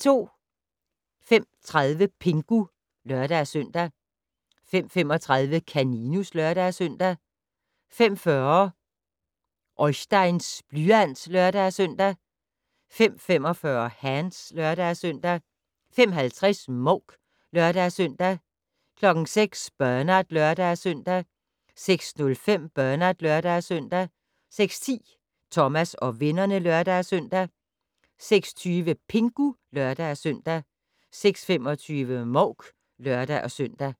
05:30: Pingu (lør-søn) 05:35: Kaninus (lør-søn) 05:40: Oisteins blyant (lør-søn) 05:45: Hands (lør-søn) 05:50: Mouk (lør-søn) 06:00: Bernard (lør-søn) 06:05: Bernard (lør-søn) 06:10: Thomas og vennerne (lør-søn) 06:20: Pingu (lør-søn) 06:25: Mouk (lør-søn)